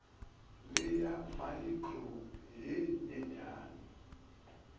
le ya maekhro ye nyenyane